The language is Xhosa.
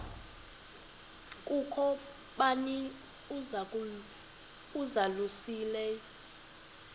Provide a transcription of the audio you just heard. kukho bani uzalusileyo